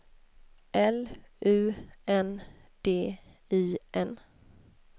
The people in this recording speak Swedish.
L U N D I N